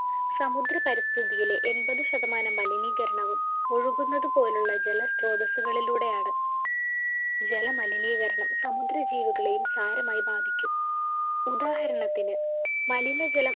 സമുദ്രപരിസ്ഥിതിയിലെ എൺപത് ശതമാനം മലിനീകരണവും ഒഴുകുന്നത് പോലുള്ള ജല സ്ത്രോതസുകളിലൂടെയാണ് ജലമലിനീകരണം സമുദ്ര ജീവികളെയും സാരമായി ബാധിക്കും ഉദാഹരണത്തിന് മലിനജലം